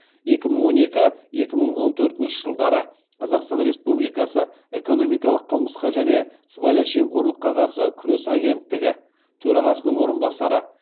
екі мың он екі екі мың он төртінші жылдары қазақстан республикасы экономикалық қылмысқа және сыбайлас жемқорлыққа қарсы күрес агенттігі төрағасының орынбасары